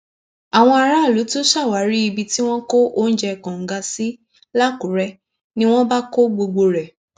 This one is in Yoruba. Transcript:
àwọn aráàlú tún ṣàwárí ibi tí wọn kó oúnjẹ kóńgà sí làkúrẹ ni wọn bá kó gbogbo rẹ